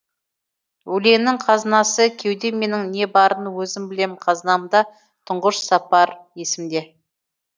өлеңнің қазынасы кеудем менің не барын өзім білем қазынамда тұңғыш сапар есімде